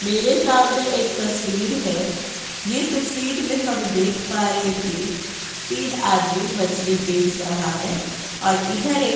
मेरे सामने एक तस्वीर है। ये तस्वीर में हब् देख पा रहे कि तीन आदमी मछली बेच रहा है और इधर एक --